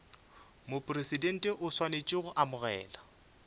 mopresidente o swanetše go amogela